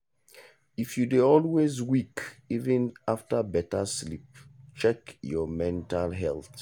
if you dey always weak even after better sleep check your mental health.